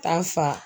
Taa fa